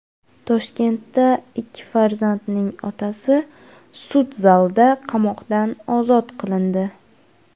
Toshkentda ikki farzandning otasi sud zalida qamoqdan ozod qilindi.